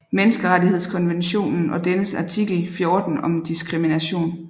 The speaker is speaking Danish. Menneskerettighedskonventionen og dennes artikel 14 om diskrimination